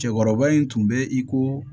Cɛkɔrɔba in tun bɛ i ko